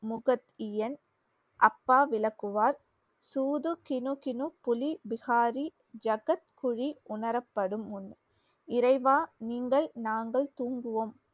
விளக்குவார் உணரப்படும் முன் இறைவா நீங்கள் நாங்கள் தூங்குவோம்